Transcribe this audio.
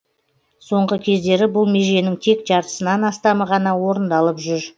соңғы кездері бұл меженің тек жартысынан астамы ғана орындалып жүр